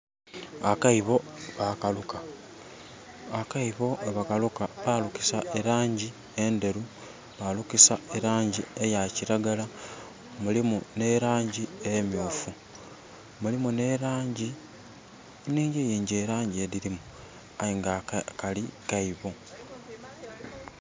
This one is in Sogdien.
Akaibo bakaluka. Akaibo we bakaluka, balukisa elangi enderu, balukisa elangi eya kiragala mulimu ne langi emyufu. Mulimu ne langi inhingi yingi elangi edirimu aye nga kali kaibo